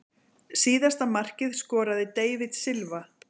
Síðasta markið skoraði David Silva.